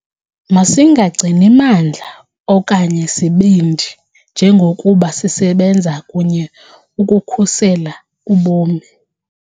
Masingagcini mandla okanye sibindi njengokuba sisebenza kunye ukukhusela ubomi.